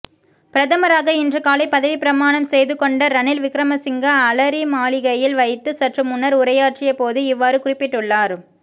பிரதமராக இன்று காலை பதவிப்பிரமாணம் செய்துகொண்ட ரணில் விக்ரமசிங்க அலரிமாளிகையில் வைத்து சற்று முன்னர் உரையாற்றிய போது இவ்வாறு குறிப்பிட்டுள்ளார்